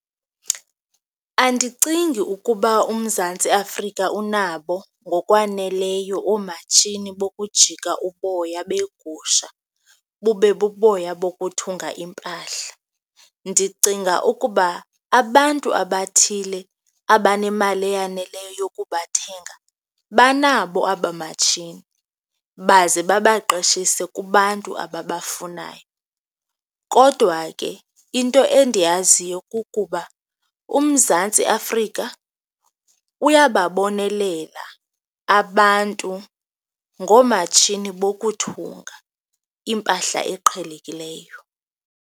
Andicingi ukuba uMzantsi Afrika unabo ngokwaneleyo oomatshini bokujika uboya beegusha bube buboya bokuthunga iimpahla. Ndicinga ukuba abantu abathile abanemali eyaneleyo yokubathenga banabo aba matshini, baze babaqeshise kubantu ababafunayo. Kodwa ke, into endiyaziyo kukuba uMzantsi Afrika uyababonelela abantu ngoomatshini bokuthunga iimpahla eqhelekileyo.